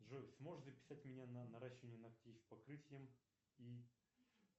джой сможешь записать меня на наращивание ногтей с покрытием и